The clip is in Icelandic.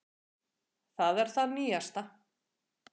Það er það nýjasta.